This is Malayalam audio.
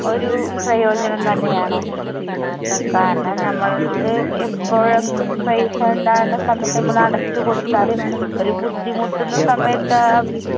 ഒരു പ്രയോജനം തന്നെയാണ്. കാരണം ഞമ്മളടുത്ത് എപ്പോഴെങ്കി paisa ഇണ്ടാവണ്ട സമയത്ത് ഞമ്മള് അടച്ചു കൊടുത്താല് ഒരു ബുദ്ധിമുട്ടുന്ന സമയത്ത് ആ